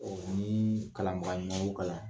Ɔ ni kalanbaga ɲuman y'u kalan